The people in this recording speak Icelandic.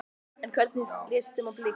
En hvernig leist þeim á blikuna?